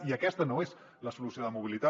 i aquesta no és la solució de mobilitat